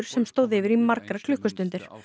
sem stóð yfir í margar klukkustundir